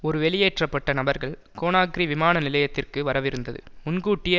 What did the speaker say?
ஒரு வெளியேற்ற பட்ட நபர்கள் கோனாக்ரி விமான நிலையத்திற்கு வரவிருந்தது முன்கூட்டியே